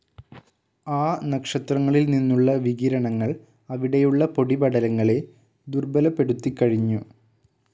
ആ നക്ഷത്രങ്ങളിൽ നിന്നുള്ള വികിരണങ്ങൾ അവിടെയുള്ള പൊടിപടലങ്ങളെ ദുർബ്ബലപ്പെടുത്തികഴിഞ്ഞു.